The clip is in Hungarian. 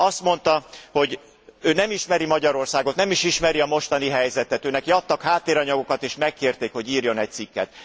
Azt mondta, hogy ő nem ismeri Magyarországot, nem is ismeri a mostani helyzetet, őneki adtak háttéranyagokat és megkérték, hogy írjon egy cikket.